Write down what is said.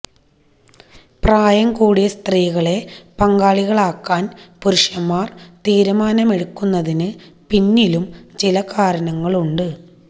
പ്രായം കൂടിയ സ്ത്രീകളെ പങ്കാളികളാക്കാന് പുരുഷന്മാര് തീരുമാനമെടുക്കുന്നതിന് പിന്നിലും ചില കാരണങ്ങളുണ്ട്